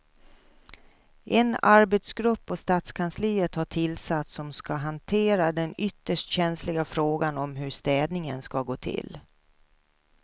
En arbetsgrupp på stadskansliet har tillsatts som ska hantera den ytterst känsliga frågan om hur städningen ska gå till.